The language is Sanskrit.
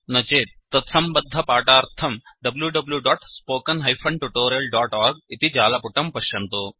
न चेत् तत्सम्बद्धपाठार्थं wwwspoken tutorialorg इति जालपुटं पश्यन्तु